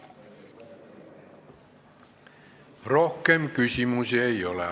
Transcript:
Rohkem küsimusi ei ole.